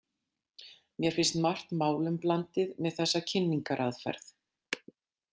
Mér finnst margt málum blandið með þessa kynningaraðferð.